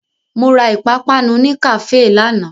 Mo ra ìpapánu ní kàféè lánàá.